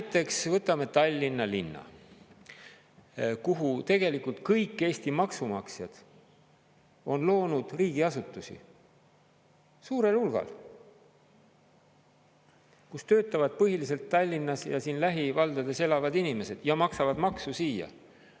Näiteks võtame Tallinna linna, kuhu tegelikult kõik Eesti maksumaksjad on loonud riigiasutusi suurel hulgal, kus töötavad põhiliselt Tallinnas ja lähivaldades elavad inimesed ja maksavad maksu siia.